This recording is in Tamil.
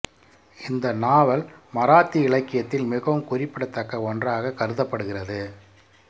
இந்த நாவல் மராத்தி இலக்கியத்தில் மிகவும் குறிப்பிடத்தக்க ஒன்றாக கருதப்படுகிறது